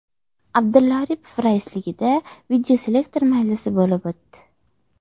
Abdulla Aripov raisligida videoselektor majlisi bo‘lib o‘tdi.